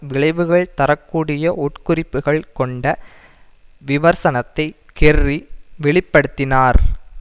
விளைவுகள் தர கூடிய உட்குறிப்புக்கள் கொண்ட விவர்சனத்தை கெர்ரி வெளி படுத்தினார்